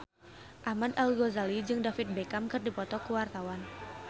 Ahmad Al-Ghazali jeung David Beckham keur dipoto ku wartawan